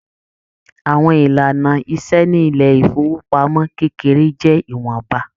Àwọn ìlànà ìṣe ní ilé ifowopamọ kékeré jẹ ìwọnba.